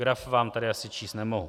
Graf vám tady asi číst nemohu.